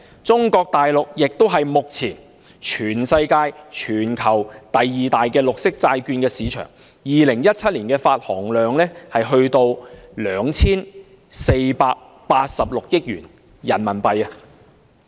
中國大陸目前是全球第二大綠色債券市場，在2017年的發行量便達 2,486 億元人民幣。